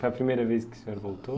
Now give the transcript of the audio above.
Foi a primeira vez que o senhor voltou?